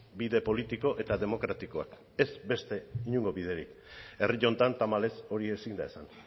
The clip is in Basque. bide politiko eta demokratikoak ez beste inongo biderik herri honetan tamalez hori ezin da esan